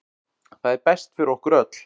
Það er best fyrir okkur öll.